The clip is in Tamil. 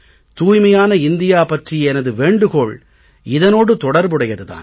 தூய்மையான இந்தியா பற்றிய எனது வேண்டுகோள் இதனோடு தொடர்புடையது தான்